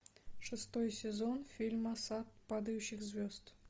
шестой сезон фильма сад падающих звезд